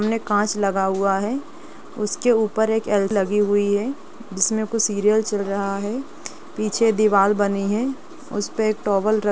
सामने कांच लगा हुआ है उसके ऊपर एक एल लगी हुई है जिसमे कोई सीरियल चल रहा है पीछे दीवार बनी है उसपे टॉवल र--